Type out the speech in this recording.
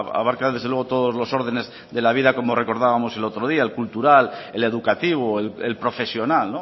abarca desde luego todos los órdenes de la vida como recordábamos el otro día el cultural el educativo el profesional